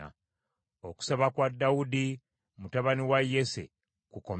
Okusaba kwa Dawudi mutabani wa Yese kukomye awo.